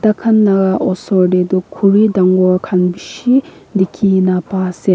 tai khan laga oshor teh tu khori dangor khan bhisi dikhi na pa se.